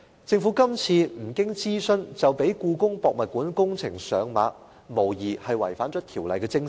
政府今次不經諮詢，便讓故宮館工程上馬，無疑是違反了《條例》的精神。